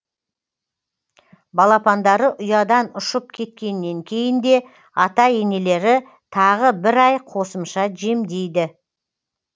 балапандары ұядан ұшып кеткеннен кейін де ата енелері тағы бір ай қосымша жемдейді